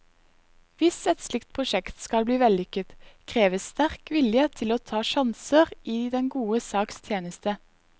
Hvis et slikt prosjekt skal bli vellykket, kreves sterk vilje til å ta sjanser i den gode saks tjeneste.